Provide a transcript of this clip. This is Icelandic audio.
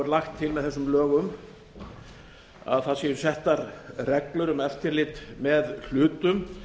er lagt til með þessum lögum að settar séu reglur um eftirlit með hlutum